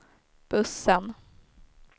bussen